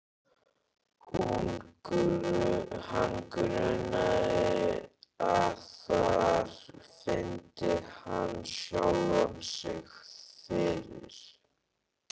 Hann grunaði að þar fyndi hann sjálfan sig fyrir.